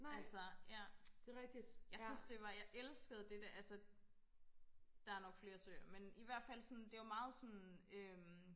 altså ja jeg synes det var jeg elskede det der der er nok flere søer men ihvertfald det var meget sådan øhm